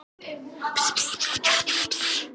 Við skulum reka þau úr húsum og taka gott herfang!